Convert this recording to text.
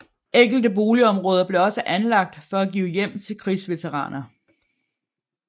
Enkelte boligområder blev også anlagt for at give hjem til krigsveteraner